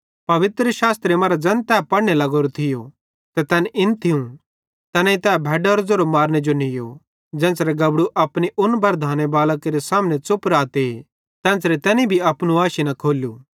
पवित्रशास्त्रे मरां ज़ैन तै पढ़ने लग्गोरो थियो त तैन इन थियूं तैनेईं तै भैडारो ज़ेरो मारने जो नीयो ज़ेन्च़रे गबड़ू अपनी उन्ना बरधांने बालां केरे सामने च़ुप राते तेन्च़रे तैनी भी अपनू आशी न खोल्लू